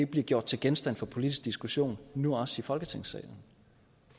bliver gjort til genstand for en politisk diskussion nu også i folketingssalen